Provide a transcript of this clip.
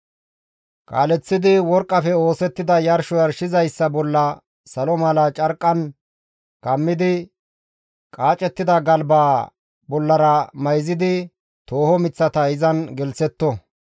«Kaaleththidi worqqafe oosettida yarsho yarshizayssa bolla salo misatiza carqqan kammidi qaacettida galbaa bollara mayzidi tooho miththata izan gelththetto.